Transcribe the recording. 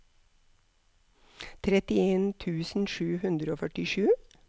trettien tusen sju hundre og førtisju